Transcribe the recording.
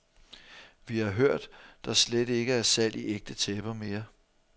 Vi har hørt, der slet ikke er salg i ægte tæpper mere.